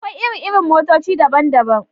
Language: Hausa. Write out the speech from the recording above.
Akwai iri-iri motoci daban-daban.